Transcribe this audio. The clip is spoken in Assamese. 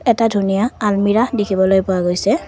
এটা ধুনীয়া আলমিৰা দেখিবলৈ পোৱা গৈছে।